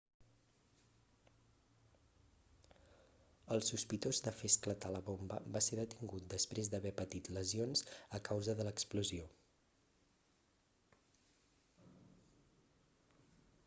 el sospitós de fer esclatar la bomba va ser detingut després d'haver patit lesions a causa de l'explosió